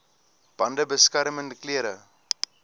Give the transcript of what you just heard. bande beskermende klere